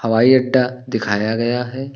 हवाई अड्डा दिखाया गया है।